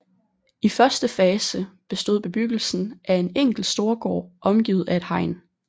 I første fase bestod bebyggelsen af en enkelt storgård omgivet af et hegn